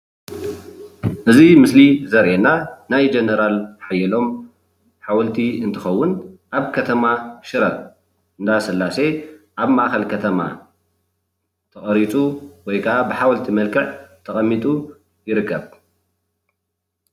እዚ ምስሊ ዘርእየና ናይ ጀነራል ሓየሎም ሓወልቲ እንትኸውን፣ ኣብ ከተማ ሽረ እንዳስላሴ ኣብ ማእኸል ከተማ ተቐሪፁ ወይካዓ ብሓወልቲ መልክዕ ተቐሚጡ ይርከብ፡፡